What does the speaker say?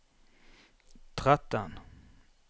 tretten